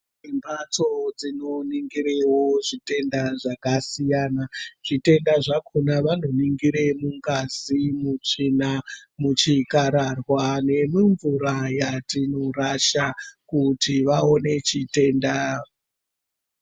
Mbatso dzinoningirewo zvitenda zvakasiyana zvitenda zvakona vanoningire mungazi , mutsvina, muchikararwa nemumvura yatinorasha kuti vawone chitenda.